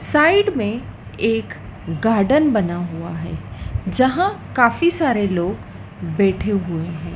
Side में एक garden बना हुआ है जहां काफी सारे लोग बैठे हुए हैं।